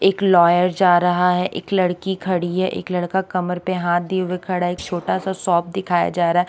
एक लॉयर जा रहा है एक लड़की खड़ी है एक लड़का कमर पे हाथ दिए हुए खड़ा है एक छोटा सा शॉप दिखाया जा रहा है।